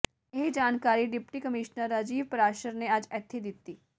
ਇਹ ਜਾਣਕਾਰੀ deputy commissioner Rajiv Parashar ਨੇ ਅੱਜ ਇੱਥੇ ਦਿੱਤੀ